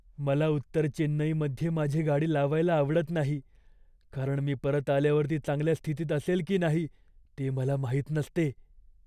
मला उत्तर चेन्नईमध्ये माझी गाडी लावायला आवडत नाही, कारण मी परत आल्यावर ती चांगल्या स्थितीत असेल की नाही ते मला माहित नसते.